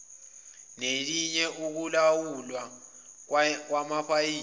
nelinye ukulawulwa kwamapayipi